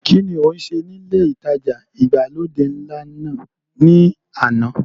kín ni o ń ṣe ní ilé ìtajà ìgbàlódé ńlá náà ni àná?